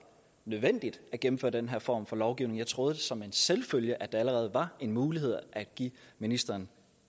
nødvendigt at gennemføre den her form for lovgivning jeg troede som en selvfølge at det allerede var en mulighed at give ministeren